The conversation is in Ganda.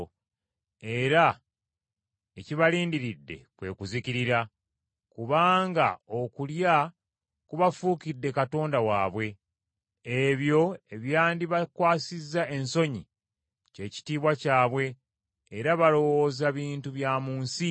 era ekibalindiridde kwe kuzikirira, kubanga okulya kubafuukidde katonda waabwe, ebyo ebyandibakwasizza ensonyi kye kitiibwa kyabwe era balowooza bintu bya mu nsi.